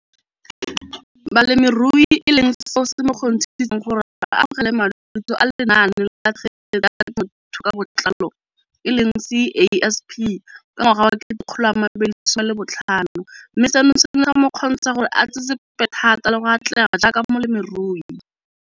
Balemirui e leng seo se mo kgontshitseng gore a amogele madithuso a Lenaane la Tshegetso ya Te mothuo ka Botlalo, CASP] ka ngwaga wa 2015, mme seno se ne sa mo kgontsha gore a tsetsepele thata le go atlega jaaka molemirui.